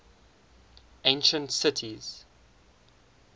ancient cities